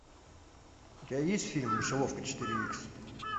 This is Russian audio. у тебя есть фильм мышеловка четыре икс